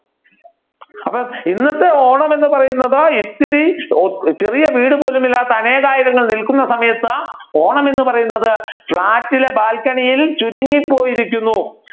അപ്പൊ ഇന്നത്തെ ഓണം എന്ന് പറയുന്നത് ഇത്തിരി ചെറിയ വീട് പോലുമില്ലാത്ത അനേകായിരം നിൽക്കുന്ന സമയത് ഓണം എന്ന് പറയുന്നത് ഫ്‌ളാറ്റിലെ ബാൽക്കണിയിൽ ചുരുങ്ങി പോയിരിക്കുന്നു